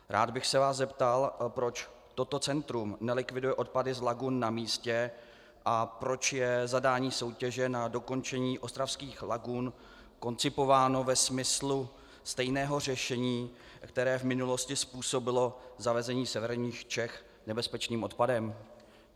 Rád bych se vás zeptal, proč toto centrum nelikviduje odpady z lagun na místě a proč je zadání soutěže na dokončení ostravských lagun koncipováno ve smyslu stejného řešení, které v minulosti způsobilo zavezení severních Čech nebezpečným odpadem.